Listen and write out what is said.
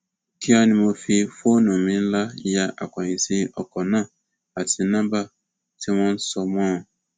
kíá ni mo ti fi fóònù mi ńlá ya akóyíǹsì ọkọ náà àti nọmba tí wọn sọ mọ ọn